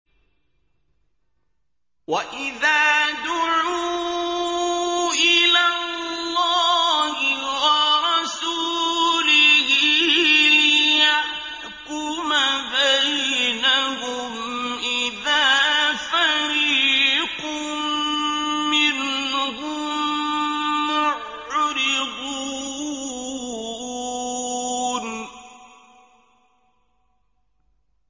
وَإِذَا دُعُوا إِلَى اللَّهِ وَرَسُولِهِ لِيَحْكُمَ بَيْنَهُمْ إِذَا فَرِيقٌ مِّنْهُم مُّعْرِضُونَ